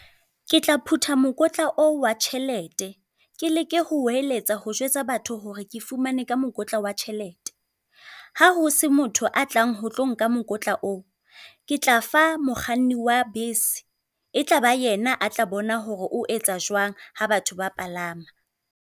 Ke tla phutha mokotla o wa tjhelete ke leke ho hweletsa ho jwetsa batho hore ke fumane ka mokotla wa tjhelete. Ha ho se motho a tlang ho tlo nka mokotla o, ke tla fa mokganni wa bese. E tlaba yena a tla bona horo o etsa jwang ha batho ba palama.